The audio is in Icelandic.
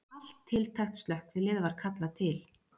Allt tiltækt slökkvilið var kallað til